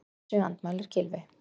Þessu andmælir Gylfi.